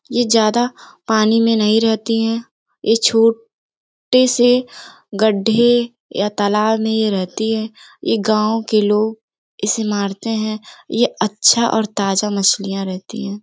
ये ज्यादा पानी में नहीं रह्ती हैं। ये छो टे से गड्डे या तलाब में ये रह्ती हैं। ये गाँव के लोग इसे मारते हैं। ये अच्छा और ताज़ा मछलियाँ रहती है।